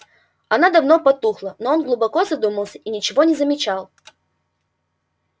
она давно потухла но он глубоко задумался и ничего не замечал